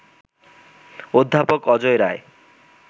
অধ্যাপক অজয় রায়